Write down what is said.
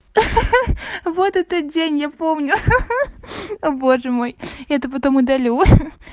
ха-ха вот этот день я помню ха-ха о боже мой это потом удалю ха-ха